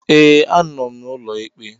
Ee, anọ m n'ụlọ ikpe